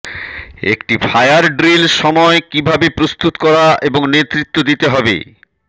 একটি fire drill সময় কিভাবে প্রস্তুত করা এবং নেতৃত্ব হতে হবে